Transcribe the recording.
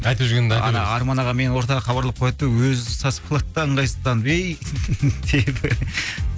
ана арман аға мені ортаға хабарлап қояды да өзі сасып қалады да ыңғайсызданып